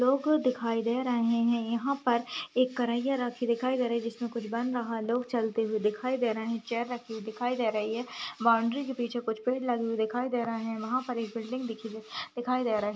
लोग दिखाई दे रहे हैं। यहाँ पर एक कर्रहिया रखी दिखाई दे रही जिसमें कुछ बन रहा है। लोग चलते हुए दिखाई दे रहे हैं। चेयर रखी हुई दिखाई दे रही है। बाउंड्री के पीछे कुछ पेड़ लगे हुए दिखाई दे रहे हैं। वहाँ पर एक बिल्डिंग दिखी जो दिखाई दे रहे --